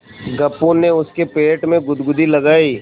गप्पू ने उसके पेट में गुदगुदी लगायी